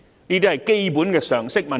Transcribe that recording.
這些是基本常識的問題。